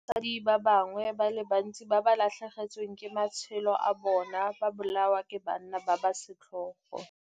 mmogo le basadi ba bangwe ba le bantsi ba ba latlhegetsweng ke matshelo a bona ba bolawa ke banna ba ba setlhogo.